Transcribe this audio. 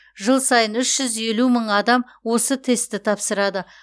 жыл сайын үш жүз елу мың адам осы тестті тапсырады